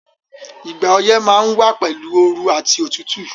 Ìgbà oyẹ́ ma n wa pẹ̀lu ooru àti otútù